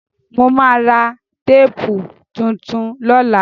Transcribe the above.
Mo ma ra téèpù tuntun lọ́la